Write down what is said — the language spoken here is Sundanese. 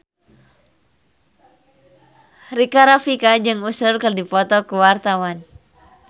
Rika Rafika jeung Usher keur dipoto ku wartawan